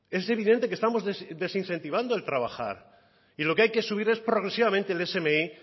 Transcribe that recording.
es evidente que estamos desincentivando el trabajar y lo que hay que subir es progresivamente el smi